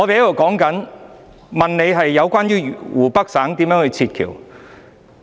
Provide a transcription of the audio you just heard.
我想問司長，怎樣從湖北省撤僑？